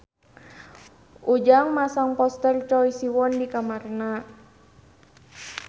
Ujang masang poster Choi Siwon di kamarna